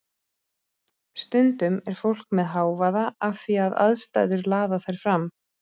Stundum er fólk með hávaða af því að aðstæður laða þær fram.